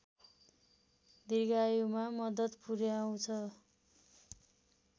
दीर्घायुमा मद्दत पुर्‍याउछ